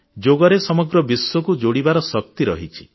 ଯୋଗରେ ସମଗ୍ର ବିଶ୍ୱକୁ ଯୋଡ଼ିବାର ଶକ୍ତି ରହିଛି